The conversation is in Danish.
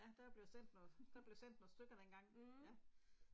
Der er blevet sendt noget, der blev sendt nogle stykker dengang, ja